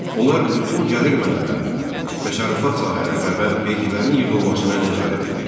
Onlar bütün gəlir mənbələrinə, təsərrüfat sahələrinə və vergilərin yığılmasına nəzarət edirdilər.